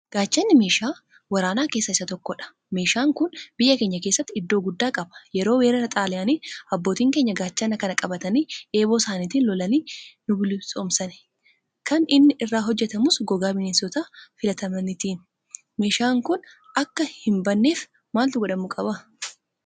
Gaachanni meeshaa waraanaa keessaa isa tokkodha. Meeshaan kun biyya keenya keessatti iddoo guddaa qaba. Yeroo weerara Xaaliyaanii abbootiin keenya Gaachana kana qabatanii eeboo isaaniitiin lolanii nubilisoomsani. Kan inni irraa hojjetamus gogaa bineensota filatamaniitiini. Meeshaan kun akka hinbanneef maaltu godhamuu qaba?